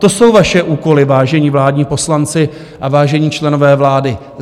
To jsou vaše úkoly, vážení vládní poslanci a vážení členové vlády.